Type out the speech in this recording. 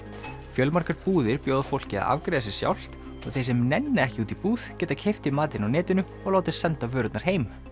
fjölmargar búðir bjóða fólki að afgreiða sig sjálft og þeir sem nenna ekki út í búð geta keypt í matinn á netinu og látið senda vörurnar heim